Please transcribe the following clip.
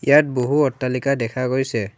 ইয়াত বহু অট্টালিকা দেখা গৈছে।